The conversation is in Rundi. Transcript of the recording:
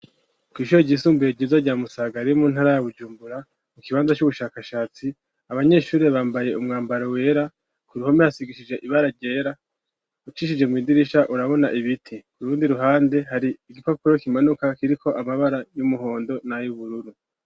Kw'ishuro ryisumbuye ryiza rya Musaga riri mu ntara ya Bujumbura mu kibanza c'ubushakashatsi, abanyeshuri bambaye umwambaro wera, ku ruhome hasigishije ibara ryera. Ucishije mw'idirisha urabona ibiti. Ku rundi ruhande hari igipapuro kimanuka kiriko amabara y'umuhondo nay'ubururu.